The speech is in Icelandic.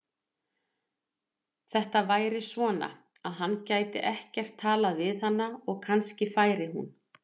Þetta væri svona, að hann gæti ekkert talað við hana og kannski færi hún.